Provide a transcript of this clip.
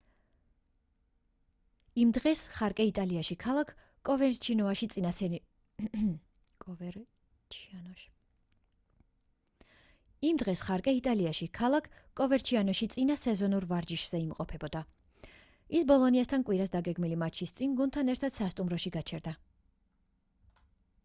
იმ დღეს ხარკე იტალიაში ქალაქ კოვერჩიანოში წინა სეზონურ ვარჯიშებზე იმყოფებოდა ის ბოლონიასთან კვირას დაგეგმილი მატჩის წინ გუნდთან ერთად სასტუმროში გაჩერდა